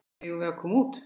Eigum við að koma út?